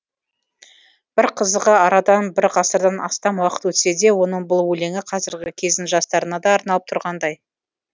бір қызығы арадан бір ғасырдан астам уақыт өтсе де оның бұл өлеңі қазіргі кездің жастарына да арналып тұрғандай